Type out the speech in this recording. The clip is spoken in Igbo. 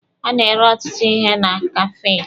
A na-ere ọtụtụ ihe na kafee.